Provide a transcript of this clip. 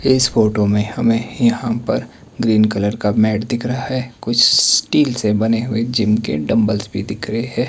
इस फोटो में हमें यहां पर ग्रीन कलर का मैट दिख रहा है कुछ स्टील से बने हुए जिम के डंबल्स भी दिख रहे हैं।